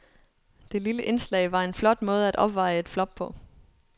Det lille indslag var en flot måde at opveje et flop på.